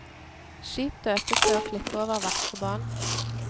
Skip døpes ved å klippe over vakre bånd.